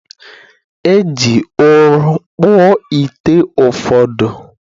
E ji ụrọ kpụọ ite ụfọdụ